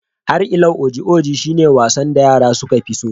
Har ilau, wasan oji oji shi ne wasan da yara suka fi so